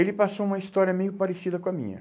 Ele passou uma história meio parecida com a minha.